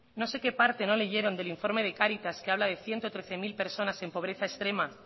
no sé que parte no lo leyeron del informe de cáritas que habla de ciento trece mil personas en pobreza extrema